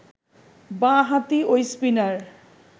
বাঁ-হাতি ঐ স্পিনার